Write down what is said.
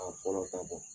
A fɔlɔ ka bon